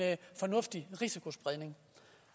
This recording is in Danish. fornuftig risikospredning